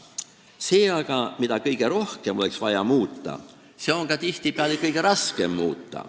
Seda aga, mida kõige rohkem oleks vaja muuta, on tihtipeale ka kõige raskem muuta.